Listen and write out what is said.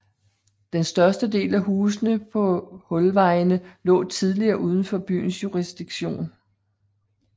Den største del af husene på Hulvejene lå tidligere udenfor byens jurisdiktion